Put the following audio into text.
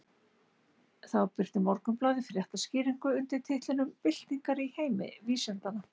Þá birti Morgunblaðið fréttaskýringu undir titlinum Byltingar í heimi vísindanna.